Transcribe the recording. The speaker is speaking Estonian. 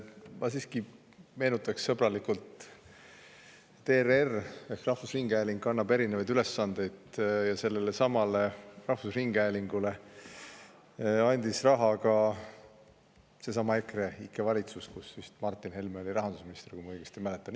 Ma siiski meenutan sõbralikult, et ERR ehk rahvusringhääling kannab erinevaid ülesandeid, ja rahvusringhäälingule andis raha ka seesama EKREIKE valitsus, kus Martin Helme oli rahandusminister, kui ma õigesti mäletan.